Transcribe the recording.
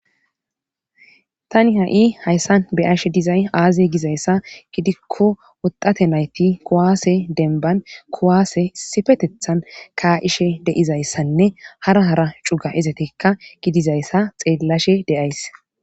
tani ha7i hayssan beyashe dizay aaze gizayssa gidikko woxate nayti kowaase denban kowaase sifetethan kaa7ishe deizayssanne hara hara cuga izatekka gidizayssa xeellashe deays